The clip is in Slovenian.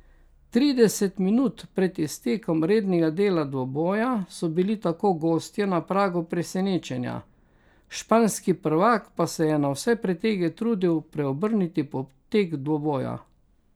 Trideset minut pred iztekom rednega dela dvoboja so bili tako gostje na pragu presenečenja, španski prvak pa se je na vse pretege trudil preobrniti potek dvoboja.